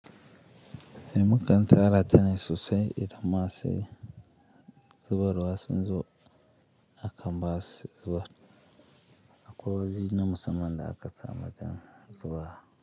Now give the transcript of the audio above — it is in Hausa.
Mukan tara ta ne sosai idan ma se zubarwa sun zo akan basu su zubar akwai wani na musamman da aka samar don zuba.